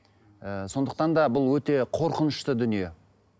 і сондықтан да бұл өте қорқынышты дүние